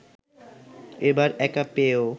এবার একা পেয়েও